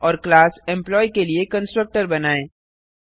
और class employee के लिए कंस्ट्रक्टर बनाएँ